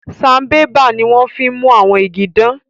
Sanbébà ní wón fín mú ìgi dan